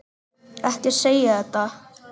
Ekki segja þetta!